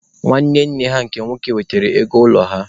Nwanne nne ha nke nwoke wetere ego ụlọ ha.